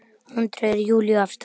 Hún dregur Júlíu af stað.